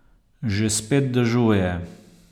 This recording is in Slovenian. Že spet dežuje.